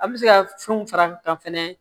An bɛ se ka fɛnw fara kan fɛnɛ